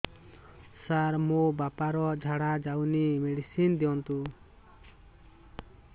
ସାର ମୋର ବାପା ର ଝାଡା ଯାଉନି ମେଡିସିନ ଦିଅନ୍ତୁ